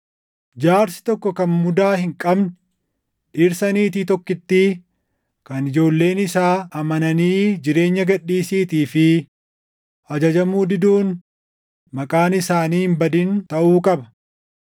Jaarsi tokko kan mudaa hin qabne, dhirsa niitii tokkittii, kan ijoolleen isaa amananii jireenya gad dhiisiitii fi ajajamuu diduun maqaan isaanii hin badin taʼuu qaba.